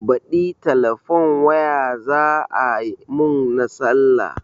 Baɗi telefon waya za a mun na sallah